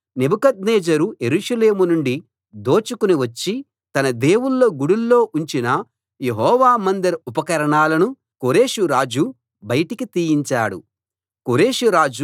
ఇవి కాక నెబుకద్నెజరు యెరూషలేము నుండి దోచుకుని వచ్చి తన దేవుళ్ళ గుడుల్లో ఉంచిన యెహోవా మందిర ఉపకరణాలను కోరెషు రాజు బయటికి తీయించాడు